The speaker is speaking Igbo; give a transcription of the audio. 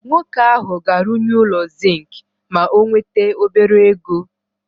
Nwoke ahụ ga-arụnye ụlọ zink ma o nwete obere ego.